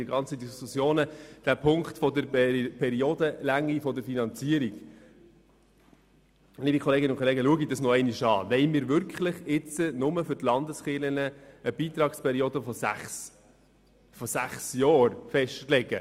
Liebe Kolleginnen und Kollegen, denken Sie nochmals darüber nach: Wollen wir wirklich nur für die Landeskirchen eine Beitragszeit von sechs Jahren festlegen?